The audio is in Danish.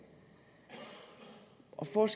for at